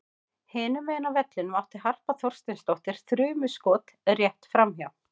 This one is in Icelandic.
Hinum megin á vellinum átti Harpa Þorsteinsdóttir þrumuskot rétt framhjá.